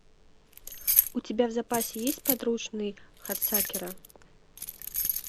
у тебя в запасе есть подручный хадсакера